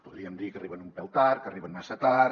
podríem dir que arriben un pèl tard que arriben massa tard